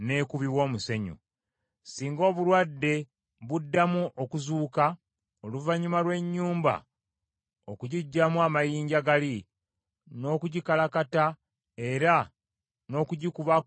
“Singa obulwadde buddamu okuzuuka, oluvannyuma lw’ennyumba okugiggyamu amayinja gali, n’okugikalakata era n’okugikubako omusenyu omuggya,